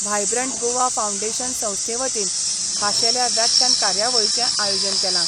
Vibrant Goa foundation संस्थेवतीन खाशेल्या व्याख्यान कार्यावळीचे आयोजन केला.